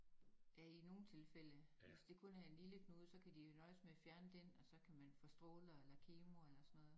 Ja i nogen tilfælde hvis det kun er en lille knude så kan de jo nøjes med at fjerne dén og så kan man få stråler eller kemo eller sådan noget